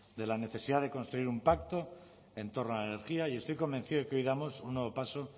de la necesidad de construir un pacto en torno a la energía y estoy convencido de que hoy damos un nuevo paso